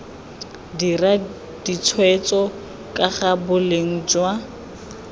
dira ditshwetso kaga boleng jwa